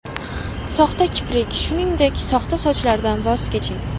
Soxta kiprik, shuningdek, soxta sochlardan voz keching.